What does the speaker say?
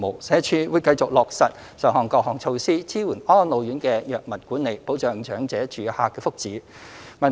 社署會繼續落實上述各項措施，支援安老院的藥物管理，保障長者住客的福祉。